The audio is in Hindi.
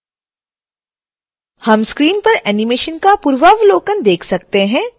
हम स्क्रीन पर एनीमेशन का पूर्वावलोकन देख सकते हैं